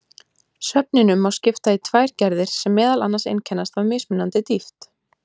Svefninum má skipta í tvær gerðir sem meðal annars einkennast af mismunandi dýpt.